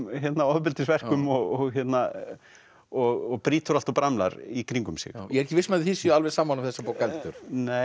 ofbeldisverkum og og brýtur allt og bramlar í kringum sig ég er ekki viss um að þið séuð sammála um þessa bók heldur